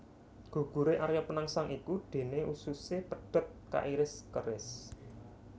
Guguré Arya Penangsang iku déné ususé pedhot kairis keris